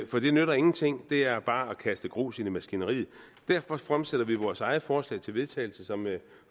for det nytter ingenting og det er bare at kaste grus i maskineriet derfor fremsætter vi vores eget forslag til vedtagelse som jeg